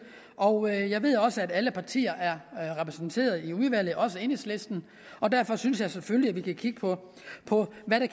og jeg ved også at alle partier er repræsenteret i udvalget også enhedslisten derfor synes jeg selvfølgelig at vi kan kigge på på hvad der